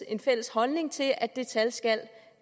en fælles holdning til at det skal skal